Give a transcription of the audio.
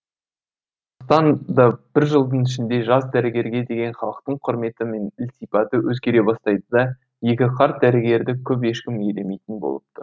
сондықтан да бір жылдың ішінде жас дәрігерге деген халықтың құрметі мен ілтипаты өзгере бастайды да екі қарт дәрігерді көп ешкім елемейтін болыпты